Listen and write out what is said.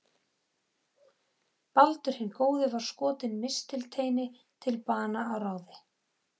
Baldur hinn góði var skotinn mistilteini til bana að ráði